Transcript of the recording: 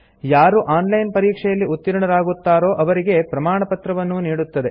ಯಾರು online ಪರೀಕ್ಷೆಯಲ್ಲಿ ಉತ್ತೀರ್ಣರಾಗುತ್ತಾರೋ ಅವರಿಗೆ ಪ್ರಮಾಣಪತ್ರವನ್ನೂ ನೀಡುತ್ತದೆ